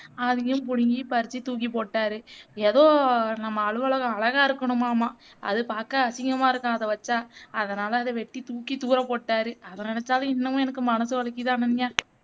அதயும் பிடிங்கி பறிச்சு தூக்கி போட்டாரு ஏதோ நம்ம அலுவலகம் அழகா இருகணுமாமா அது பாக்க அசிங்கமா இருக்காம் அத வச்சா அதனாலே அத வெட்டி தூக்கி தூர போட்டாரு அதை நெனச்சாலும் இன்னமும் எனக்கு மனசு வலிக்குது அனன்யா